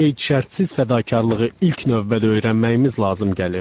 Qeyd şərtsiz fədakarlığı ilk növbədə öyrənməyimiz lazım gəlir.